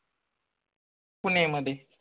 पुणे मध्ये